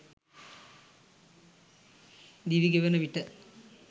දිවිගෙවෙන විට